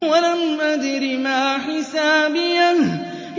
وَلَمْ أَدْرِ مَا حِسَابِيَهْ